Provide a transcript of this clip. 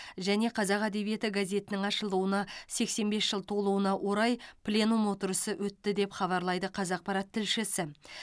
және қазақ әдебиеті газетінің ашылуына сексен бес жыл толуына орай пленум отырысы өтті деп хабарлайды қазақпарат тілшісі